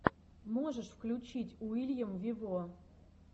можешь включить уильям вево